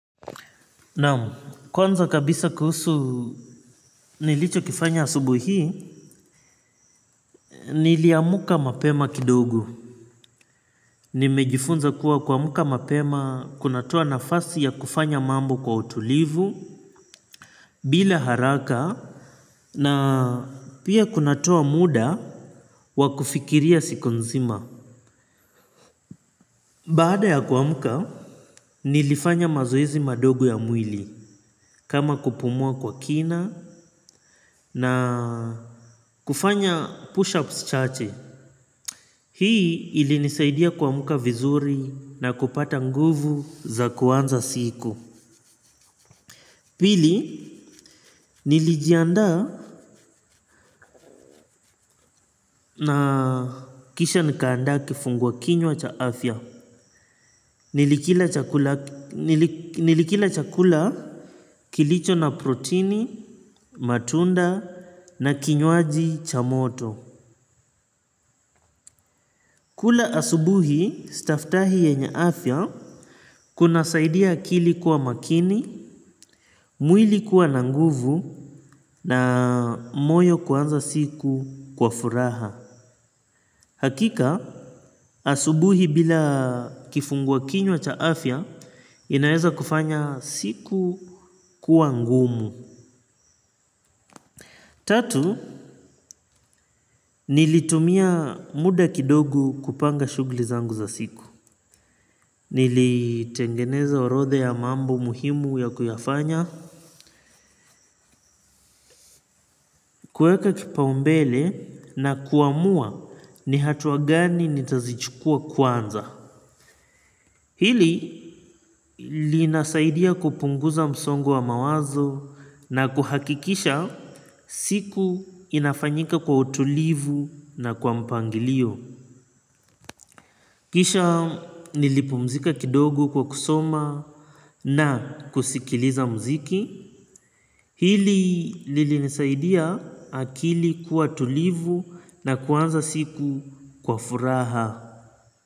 Naam kwanza kabisa kuhusu nilichokifanya asubuhi hii niliamka mapema kidogo nimejifunza kuwa kuamka mapema kunatoa nafasi ya kufanya mambo kwa utulivu bila haraka na pia kunatoa muda wa kufikiria siku nzima. Baada ya kuamka nilifanya mazoezi madogo ya mwili kama kupumua kwa kina na kufanya push-ups chache. Hii ilinisaidia kuamka vizuri na kupata nguvu za kuanza siku. Pili, nilijianda na kisha nikaanda kifungwa kinywa cha afya. Nilikila chakula kilicho na protini, matunda na kinywaji cha moto. Kula asubuhi, staftahi yenye afya kunasaidia akili kuwa makini, mwili kuwa na nguvu na moyo kuanza siku kwa furaha. Hakika, asubuhi bila kifungua kinywa cha afya, inaweza kufanya siku kuwa ngumu. Tatu, nilitumia muda kidogu kupanga shughuli zangu za siku. Nilitengeneza orodha ya mambo muhimu ya kuyafanya, kuweka kipaumbele na kuamua ni hatua gani nitazichukua kwanza. Hili linasaidia kupunguza msongo wa mawazo na kuhakikisha siku inafanyika kwa utulivu na kwa mpangilio. Kisha nilipumzika kidogo kwa kusoma na kusikiliza mziki. Hili lilinisaidia akili kuwa tulivu na kuanza siku kwa furaha.